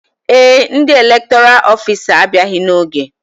Ee, ndị elektoral ofisa a abịaghị n'oge